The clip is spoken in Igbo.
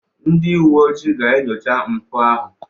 Ndị uwe ojii ga-enyocha mpụ ahụ.